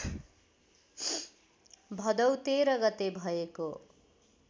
भदौ १३ गते भएको